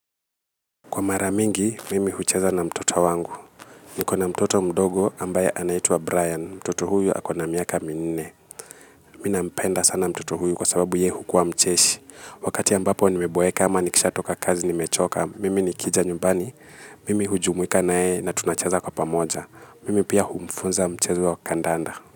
Kwa mara mingi, mimi hucheza na mtoto wangu. Nikona mtoto mdogo ambaye anaitwa Brian. Mtoto huyu akona miaka minne. Mimi nampenda sana mtoto huyu kwa sababu yeye hukuwa mcheshi. Wakati ambapo nimeboeka ama nikisha toka kazi nimechoka. Mimi nikija nyumbani. Mimi hujumuika na yeye na tunacheza kwa pamoja. Mimi pia humfunza mchezo wa kandanda.